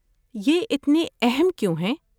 یہ اتنے اہم کیوں ہیں؟